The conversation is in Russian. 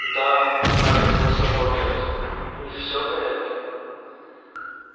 да огрызнулся богерт у них все в порядке